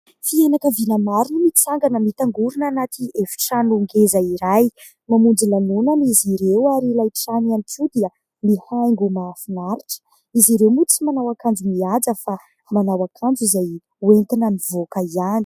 Fianakaviana maro no mitsangana mitangorina anaty efitrano ngeza iray, mamonjy lanonana izy ireo ary ilay trano ihany koa dia mihaingo mahafinaritra, izy ireo moa tsy manao akanjo mihaja fa manao akanjo izay ho entina mivoaka ihany.